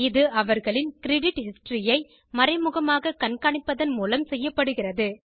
இது அவர்களின் credit history ஐ மறைமுகமாக கண்காணிப்பதன் மூலம் செய்யப்படுகிறது